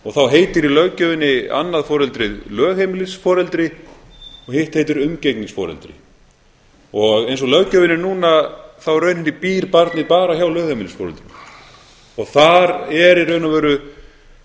og þá heitir í löggjöfinni annað foreldrið lögheimilisforeldri og hitt heitir umgengnisforeldri eins og löggjöfin er núna þá í rauninni býr barnið bara hjá lögheimilisforeldrinu og þar er í raun og veru